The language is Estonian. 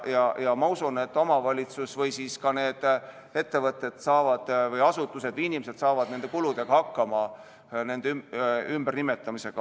Ma usun, et omavalitsused või ettevõtted, asutused ja inimesed saavad nende ümbernimetamise kuludega hakkama.